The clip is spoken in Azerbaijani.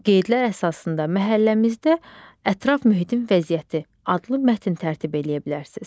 Qeydlər əsasında məhəlləmizdə ətraf mühitin vəziyyəti adlı mətn tərtib eləyə bilərsiniz.